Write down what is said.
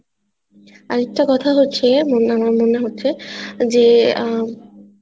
আরেকটা কথা হচ্ছে মম মনে হচ্ছে যে আহ